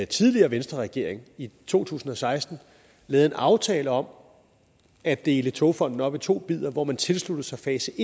tidligere venstreregering i to tusind og seksten lavede en aftale om at dele togfonden dk op i to bidder hvor man tilsluttede sig fase